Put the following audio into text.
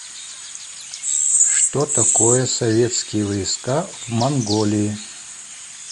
что такое советские войска в монголии